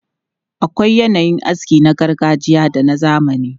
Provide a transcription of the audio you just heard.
Akwai yanayin aski na gargajiya da na zamani.